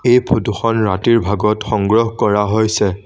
এই ফটোখন ৰাতিৰ ভাগত সংগ্ৰহ কৰা হৈছে।